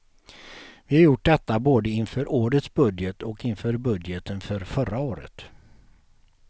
Vi har gjort detta både inför årets budget och inför budgeten för förra året.